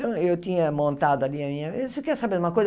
Eu, eu tinha montado ali a minha... Você quer saber de uma coisa?